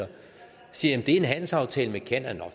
siger jeg det er en handelsaftale med canada nå